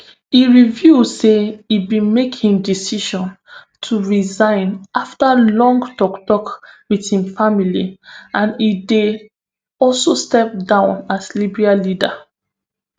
e reveal say im bin make im decision to resign afta long toktok wit im family and e dey also step down as liberal leader